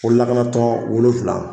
Ko lakana tɔn wolonwula .